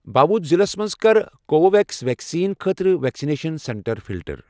باودھ ضلعس مَنٛز کر کو وِو ویٚکس ویکسیٖن خٲطرٕ ویکسِنیشن سینٹر فلٹر۔